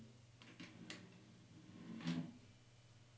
P R O F I T E R E